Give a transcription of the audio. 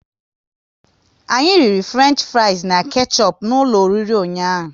Anyị riri Fruenchfries na kechup n'ụlọ oriri ụnyaahụ